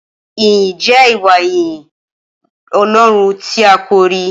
Ìyín jẹ Ìwá yinyin ọlọrún tí àkọrí